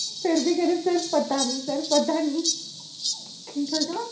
ਫਿਰ ਵੀ ਕਹਿੰਦੀ sir ਪਤਾ ਨੀ sir ਪਤਾ ਨੀ sir ਕਹਿੰਦਾ